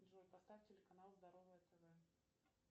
джой поставь телеканал здоровое тв